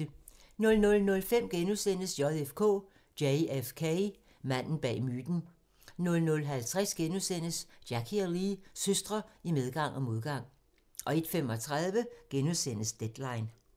00:05: JFK: Manden bag myten * 00:50: Jackie og Lee – søstre i medgang og modgang * 01:35: Deadline *